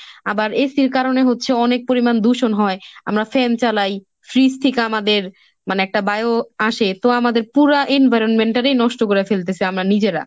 আবার AC র কারণে হচ্ছে অনেক পরিমান দূষণ হয়। আমরা fan চালাই freeze থেকে আমাদের মানে একটা bio আসে, তো আমাদের পুরা environment টাই নষ্ট করে ফেলতেসি আমরা নিজেরা।